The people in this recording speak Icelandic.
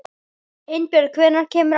Einbjörg, hvenær kemur ásinn?